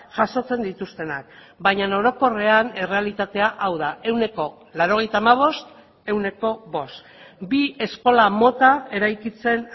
jasotzen dituztenak baina orokorrean errealitatea hau da ehuneko laurogeita hamabost ehuneko bost bi eskola mota eraikitzen